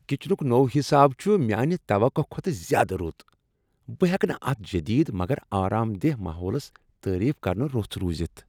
کچنک نوٚو حساب چھ میانہ توقع کھۄتہٕ زیادٕ رُت۔ بہٕ ہیکہٕ نہٕ اتھ جدید مگر آرام دہ ماحولس تعریف کرنہ رُس روزِتھ۔